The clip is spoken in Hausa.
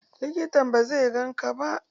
Likitan ba zai gan ka ba.